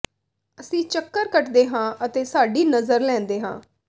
ਅਸੀਂ ਚੱਕਰ ਕੱਟਦੇ ਹਾਂ ਅਤੇ ਸਾਡੀ ਨਜ਼ਰ ਲੈਂਦੇ ਹਾਂ